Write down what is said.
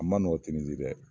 A man nɔgɔ tinizi dɛ